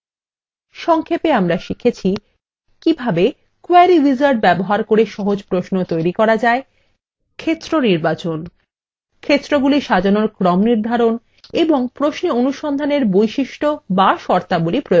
সংক্ষেপে আমরা শিখেছি কিভাবে : query wizard ব্যবহার করে সহজ প্রশ্ন তৈরী করা যায় ক্ষেত্র নির্বাচন ক্ষেত্রগুলি সাজানোর ক্রম নির্ধারণ এবং প্রশ্নে অনুসন্ধানের বৈশিষ্ট to শর্তাবলী প্রয়োগ করা